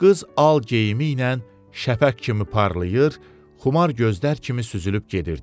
Qız al geyimi ilə şəfəq kimi parlayır, xumar gözlər kimi süzülüb gedirdi.